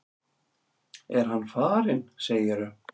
Er hann farinn, segirðu?